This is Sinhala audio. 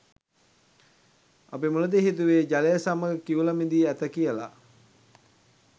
අපි මුලදී හිතුවේ ජලය සමග කිවුල මිදී ඇත කියලා.